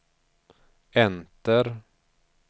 enter